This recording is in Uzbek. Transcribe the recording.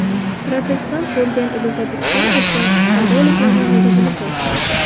Protestant bo‘lgan Elizabet I esa katoliklarning g‘azabini keltirardi.